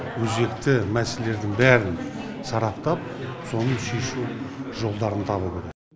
өзекті мәселелердің бәрін сараптап соны шешу жолдарын табу керек